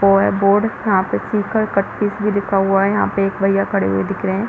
वो है बोर्ड यहाँ पर शिखर कटपीस भी लिखा हुआ है यहाँ पे एक भईया भी खड़े हुए दिख रहे हैं।